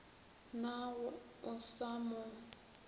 na ga o sa mo